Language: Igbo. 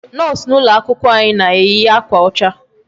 Nurse nọ n'ụlọ akwụkwọ anyị na-eyi akwa ọcha.